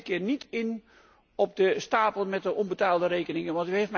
En ik ga deze keer niet in op de stapel met onbetaalde rekeningen.